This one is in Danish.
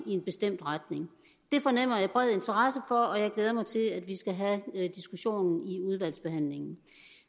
i en bestemt retning det fornemmer jeg bred interesse for og jeg glæder mig til at vi skal have diskussionen i udvalgsbehandlingen